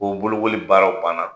K'o bolokoli baaraw banna